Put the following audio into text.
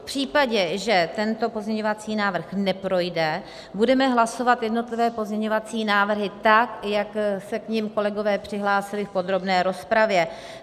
V případě, že tento pozměňovací návrh neprojde, budeme hlasovat jednotlivé pozměňovací návrhy tak, jak se k nim kolegové přihlásili v podrobné rozpravě.